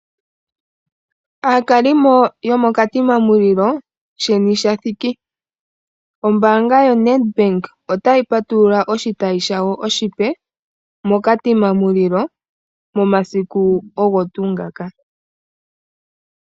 Aakalimo yo moKatima Mulilo, sheni sha thiki. Ombaanga yoNEDBANK otayi patulula oshitayi shawo oshipe , moKatima Mulilo, momasiku ogo tuu ngoka.